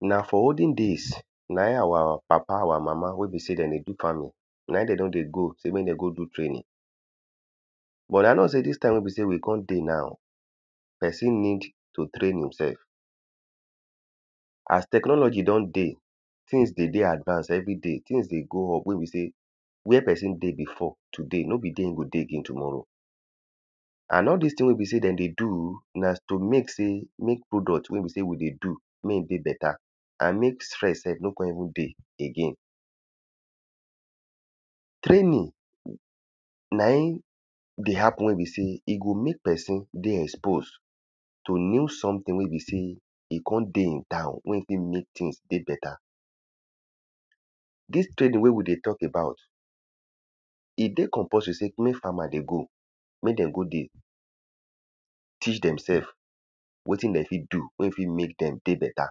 na for olden days naim awa mama awa papa wey be sey dem dey do farming naim dem don dey go sey mek dem com do training but i know sey dis taim wey be sey we con dey nau pesin need to train yorsef as technology don dey tings dey de advanced everi day tings dey go up wey be sey wia pesin dey bifo today no be dia im go dey again tommorow and all dis ting wey be sey dem dey do na to mek sey mek product wey be sey we dey do mek e dey beta and stress no con even de again training naim dey hapun wey be sey e go mek pesin dey expose to new someting wey be sey e con dey in town wey e tek mek tings dey beta dis training wey we dey tok abat e dey compulsory sey mek farmers dey go mek dem go de teach dem sef wetin dey fit do wey fit mek dem dey beta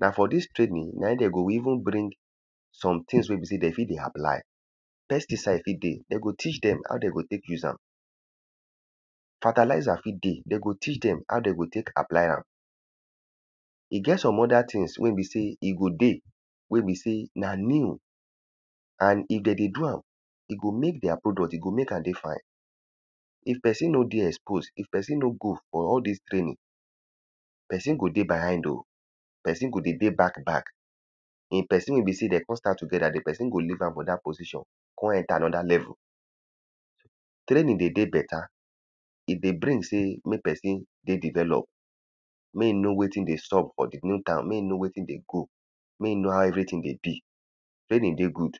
na for dis training naim dem go even bring sometings wey be sey dem fit dey apply pesticide fit de dem go teach dem how dem go tek use am fertilzer fit dey dem go teach dem how dem go tek apply am e get some oda tings wey be sey e go dey wey be sey na new and if dem dey do am e go mek dia product e go mek am de fine if pesin no dey exposed if pesino no go for all dis training pesin go de behind oh pesin go de back back e pesin wey be sey dem con start together di pesin go leave am for dat position con enta anoda level training dey de beta if dey bring sey mek pesin dey developed mek im know wetin dey sup for di new town mek im know wetin dey go mek im know how everthing dey be training dey good